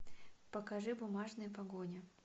покажи бумажная погоня